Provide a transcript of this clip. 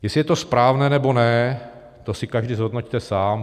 Jestli je to správné, nebo ne, to si každý zhodnoťte sám.